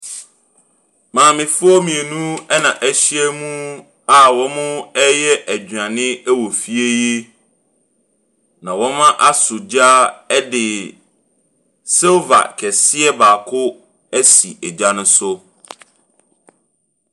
Maamefoɔ mmienu ɛna ɛhyiamu ɛna wɔreyɛ aduane wɔ fie yi. Na wɔaso gya ɛde silver kɛseɛ baako ɛsi egya no so.